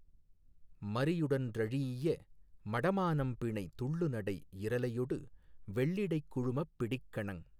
மறியுடன் றழீஇய மடமானம்பிணை துள்ளுநடையிரலையொடு வெள்ளிடைக் குழுமப் பிடிக்கணந்